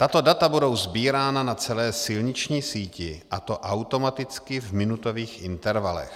Tato data budou sbírána na celé silniční síti, a to automaticky v minutových intervalech.